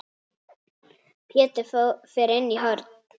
Pétur fer inn í horn.